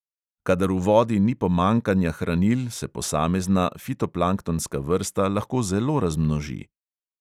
Kadar v vodi ni pomanjkanja hranil, se posamezna fitoplanktonska vrsta lahko zelo razmnoži.